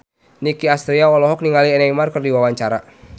Nicky Astria olohok ningali Neymar keur diwawancara